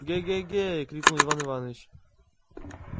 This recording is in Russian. к-ге-ге крикнул иван иваныч